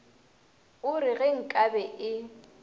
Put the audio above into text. o re ge nkabe e